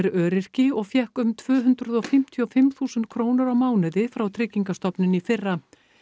öryrki og fékk um tvö hundruð fimmtíu og fimm þúsund krónur á mánuði frá Tryggingastofnun í fyrra